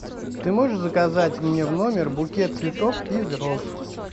ты можешь заказать мне в номер букет цветов из роз